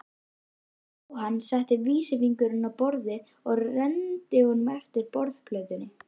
Jóhann setti vísifingurinn á borðið og renndi honum eftir borðplötunni.